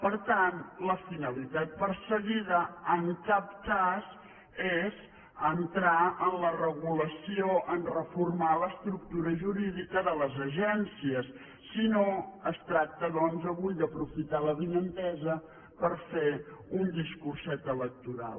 per tant la finalitat perseguida en cap cas és entrar en la regulació a reformar l’estructura jurídica de les agències sinó es tracta doncs avui d’aprofitar l’avinentesa per fer un discurset electoral